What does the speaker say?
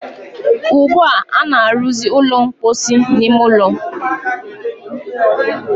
ugbua, a na-arụzị ụlọ mposi n'ime ụlọ.